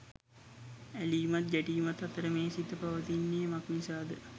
ඇලීමත් ගැටීමත් අතර මේ සිත පවතින්නේ මක්නිසාද